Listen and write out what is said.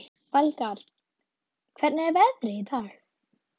Valgarð, hvernig er veðrið í dag?